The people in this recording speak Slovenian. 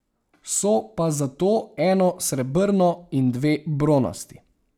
So pa zato eno srebrno in dve bronasti.